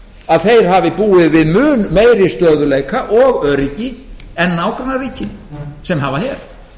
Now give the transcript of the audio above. að þeir hafi búið við mun meiri stöðugleika og öryggi en nágrannaríkin sem hafa her